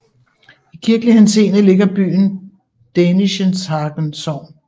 I kirkelig henseende ligger byen i Dänischenhagen Sogn